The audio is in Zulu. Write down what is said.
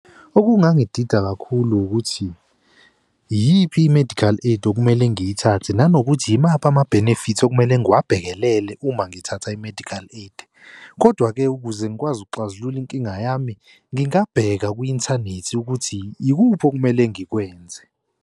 Okungangida kakhulu ukuthi iyiphi i-medical aid okumele ngiyithathe nanokuthi imaphi ama-benefits okumele ngiwabhekelele uma ngithatha i-medical aid. Kodwa-ke ukuze ngikwazi ukuxazulula inkinga yami, ngingabheka kwi-inthanethi ukuthi ikuphi okumele ngikwenze.